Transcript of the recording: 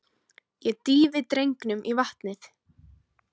Ég dýfi drengnum í vatnið.